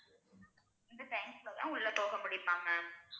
அந்த time குள்ளதான் உள்ள போகமுடியுமா ma'am